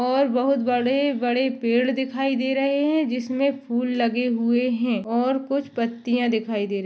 और बहुत बड़े बड़े पेड़ दिखाई दे रहे है जिसमे फुल लगे हुए है और कुछ पत्तिया दिखाई दे र--